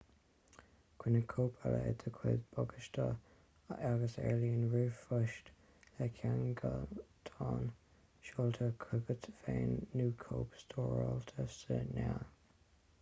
coinnigh cóip eile i do chuid bagáiste agus ar líne ríomhphost le ceangaltán seolta chugat féin nó cóip stóráilte sa néal"